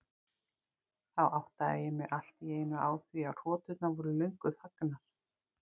Þá áttaði ég mig allt í einu á því að hroturnar voru löngu þagnaðar.